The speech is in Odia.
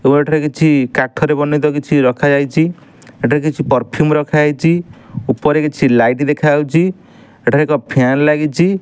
ଆଉ ଏଠାରେ କିଛି କାଠରେ ବନେଇତେ କିଛି ରଖାଯାଇଛି ଏଠି କିଛି ପର୍ଫ୍ୟୁମ୍ ରଖାଯାଇଛି ଉପରେ କିଛି ଲାଇଟ୍ ଦେଖାଯାଉଛି ଏଠାରେ ଏକ ଫ୍ୟାନ ଲାଗିଛି।